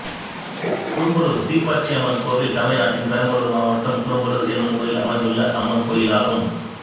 குரும்பலுர் தீப்பாய்ச்சியம்மன் கோயில் தமிழ்நாட்டில் பெரம்பலூர் மாவட்டம் குரும்பலுர் என்னும் ஊரில் அமைந்துள்ள அம்மன் கோயிலாகும்